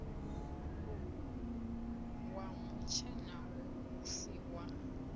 wa mutshena hu si wa